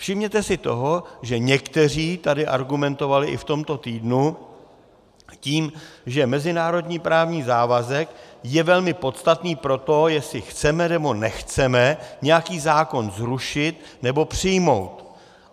Všimněte si toho, že někteří tady argumentovali i v tomto týdnu tím, že mezinárodní právní závazek je velmi podstatný pro to, jestli chceme, nebo nechceme nějaký zákon zrušit nebo přijmout.